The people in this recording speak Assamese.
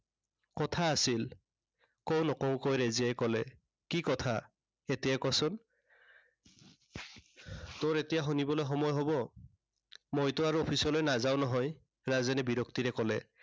কথা আছিল। কঁও, নকঁওকৈ ৰেজিয়াই কলে। কি কথা এতিয়াই ক চোন। তোৰ এতিয়া শুনিবলৈ সময় হব। মইতো আৰু office লৈ নাযাও নহয়। ৰাজেনে বিৰক্তিৰে কলে।